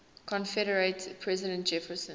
confederate president jefferson